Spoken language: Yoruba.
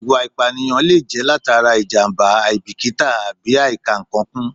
Ìwà ìpànìyàn lè jẹ́ látara ìjàmbá, àìbíkítà àbí àìkà-ǹkan kún